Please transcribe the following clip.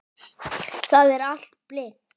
Það er allt blint.